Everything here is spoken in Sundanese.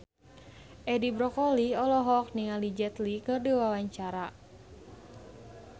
Edi Brokoli olohok ningali Jet Li keur diwawancara